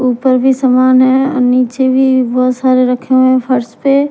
ऊपर भी सामान है नीचे भी बहुत सारे रखे हुए हैं फर्श पे --